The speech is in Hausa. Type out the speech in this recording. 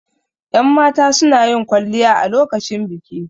Yan mata sunayin kwalliya a lokacin biki